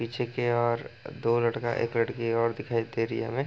पीछे की ओर दो लड़का एक लड़की और दिखाई दे रही है हमें।